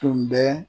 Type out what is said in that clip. Tun bɛ